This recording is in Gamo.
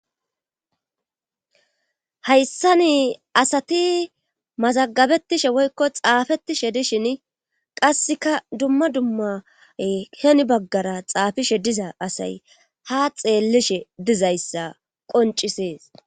Hayssani asati mazagabettishe woykko xaafettishe dishin qasseka dumma dumma hen baggara xaafishe diza asay ha xeellishe dizayssa qoncisees.